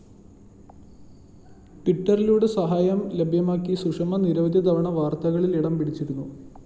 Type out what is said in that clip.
ട്വിറ്ററിലൂടെ സഹായം ലഭ്യമാക്കി സുഷമ നിരവധി തവണ വാര്‍ത്തകളില്‍ ഇടംപിടിച്ചിരുന്നു